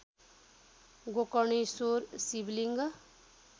Gokarneshwar Shivling